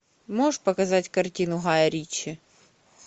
можешь показать картину гая ричи